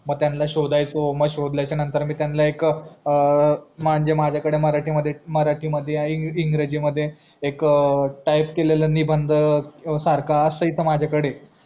मग त्यांला शोदयचो शोदल्याचा नंतर मी त्यांना एक अ मंजे माझया कडे मराठीमध्ये इंग्रजीमध्ये एक टाईप केलेला निबंध सारखा असायचा माझा कडे